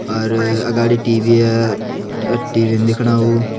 अर आगाड़ी टी_वि अ टी_वि न देखणा उ।